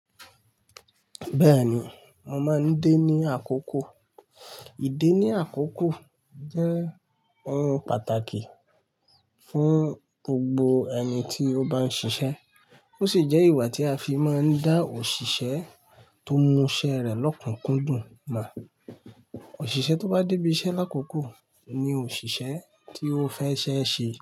Bẹ́ẹ̀ni, mo máa ń dé ní àkókò. Í dé ní àkókò jẹ́ ohun pàtàkì fún gbogbo ẹni tí ó bá ń ṣiṣẹ́. Ó sì jẹ́ ìwà tí a fi máa ń dá òṣìṣẹ́ tó mú ṣẹ́ rẹ̀ lọ́kùnkúndùn mọ̀. Òṣìṣẹ́ tó bá dé ibi iṣẹ́ lákòókò ni òṣìṣẹ́ tí ó fẹ́ ṣeẹ́ ṣe.